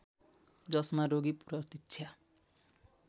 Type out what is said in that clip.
जसमा रोगी प्रतीक्षा